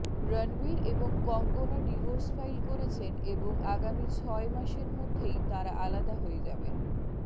রণবীর এবং Konkona divorce file করেছেন এবং আগামী ছয় মাসের মধ্যেই তাঁরা আলাদা হয়ে যাবেন